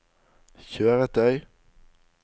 kjøretøy